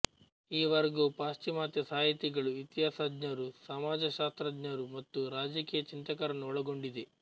ಈ ವರ್ಗವು ಪಾಶ್ಚಿಮಾತ್ಯ ಸಾಹಿತಿಗಳು ಇತಿಹಾಸಜ್ಞರು ಸಮಾಜಶಾಸ್ತ್ರಜ್ಞರು ಮತ್ತು ರಾಜಕೀಯ ಚಿಂತಕರನ್ನು ಒಳಗೊಂಡಿದೆ